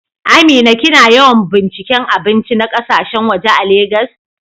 Amina, kina yawan binciken abinci na kasashen waje a Legas?